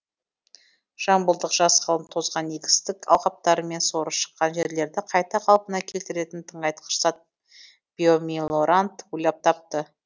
жамбылдық жас ғалым тозған егістік алқаптары мен соры шыққан жерлерді қайта қалпына келтіретін тыңайтқыш зат биомелорант ойлап тапты